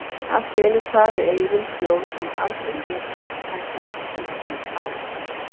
Allt í einu kvað við eyrum hljóð sem aldrei fyrr hafði heyrst úti á